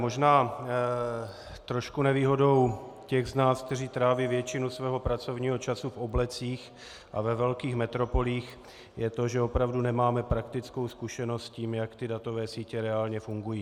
Možná trošku nevýhodou těch z nás, kteří tráví většinu svého pracovního času v oblecích a ve velkých metropolích, je to, že opravdu nemáme praktickou zkušenost s tím, jak ty datové sítě reálně fungují.